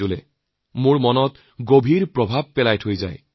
এইবোৰে মোৰ মনত গভীৰ প্ৰভাৱ পেলায়